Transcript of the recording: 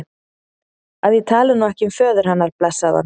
að ég tali nú ekki um föður hennar, blessaðan.